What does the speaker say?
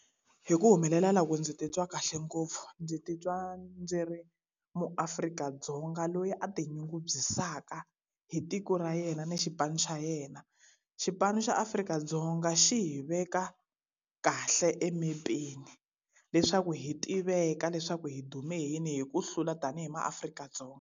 Hi ku humelela loku ndzi titwa kahle ngopfu. Ndzi titwa ndzi ri muAfrika-Dzonga loyi a tinyungubyisaka hi tiko ra yena ni xipano xa yena. Xipano xa Afrika-Dzonga xi hi veka kahle emepeni leswaku hi tiveka leswaku hi dume hi yini hi ku hlula tanihi maAfrika-Dzonga.